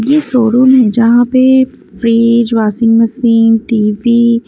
ये शोरूम है जहाँ पे फ्रीीज वाशिंग मशीन टी_वी --